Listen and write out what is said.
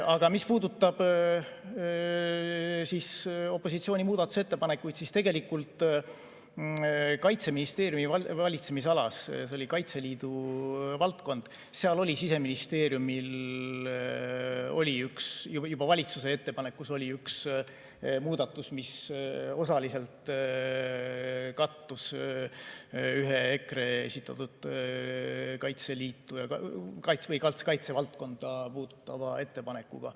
Aga mis puudutab opositsiooni muudatusettepanekuid, siis tegelikult Kaitseministeeriumi valitsemisalas, see oli Kaitseliidu valdkond, oli Siseministeeriumil juba valitsuse ettepanekus üks muudatus, mis osaliselt kattus ühe EKRE esitatud Kaitseliitu või kaitsevaldkonda puudutava ettepanekuga.